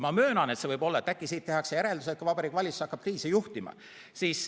Ma möönan, et äkki siit tehakse järeldus, et Vabariigi Valitsus hakkab kriisi juhtima.